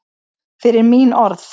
Fyrir mín orð.